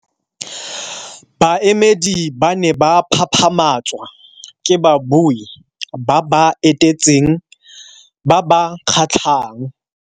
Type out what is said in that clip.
Baemedi ba ne ba phaphamatswa ke babui ba ba etetseng ba ba kgatlhang.